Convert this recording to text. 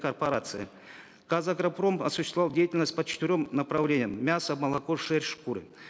корпорации казагропром осуществлял деятельность по четырем направлениям мясо молоко шерсть шкуры